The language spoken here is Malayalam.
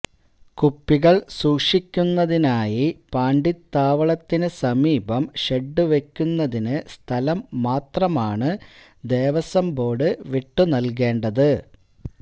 കുപ്പികള് സൂക്ഷിക്കുന്നതിനായി പാണ്ടിത്താവളത്തിന് സമീപം ഷെഡ്വയ്ക്കുന്നതിന് സ്ഥലം മാത്രമാണ് ദേവസ്വം ബോര്ഡ് വിട്ടുനല്കേണ്ടത്